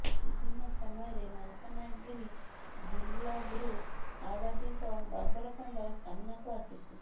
ବିଭିନ୍ନ ସମୟରେ ମାଲକାନଗିରି ଜିଲବ୍ରୁ ମାଓବାଦୀଙ୍କ ବର୍ବରକାଣ୍ଡ ସାମନାକୁ ଆସୁଛି